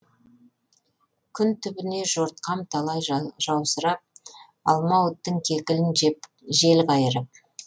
күн түбіне жортқам талай жаусырап алмауыттың кекілін жел қайырып